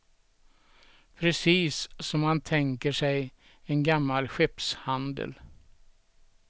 Precis som man tänker sig en gammal skeppshandel.